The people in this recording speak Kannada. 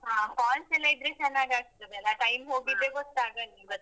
ಹ falls ಎಲ್ಲಾ ಇದ್ರೆ ಚೆನ್ನಾಗಾಗ್ತದೆ ಅಲ time ಹೋಗಿದ್ದೆ ಗೊತ್ತಾಗುದಿಲ್ಲಾ.